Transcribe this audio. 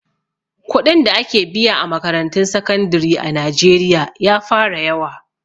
Kuɗin da ake biya a makarantun sakandire a najeriya ya fara yawa